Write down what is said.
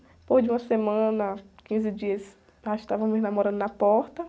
Depois de uma semana, quinze dias, nós estávamos namorando na porta.